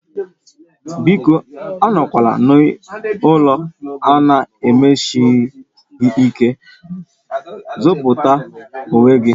Biko anọkwala n'ụlọ a na-emeshi gị ike, zọpụta onwe gị